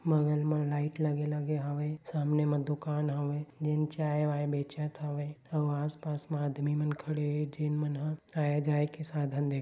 बगल मा लाइट लगे -लगे हावय सामने मा दुकान हावय जेन चाय- वाय बेचत हावय और आस -पास म आदमी मन खड़े हे तेन मन ह आए -जाए के साधन दे --